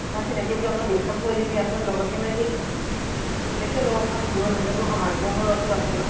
তোমাক চিনাকি বুলি অকমান discount কৰি দিম দিয়া চোন। লগতে মানে কি এনেকে ন কাৰণ দূৰত হলে মোৰ অহা যোৱা খৰচো আছে ন।